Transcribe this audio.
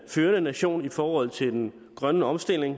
førende nation i forhold til den grønne omstilling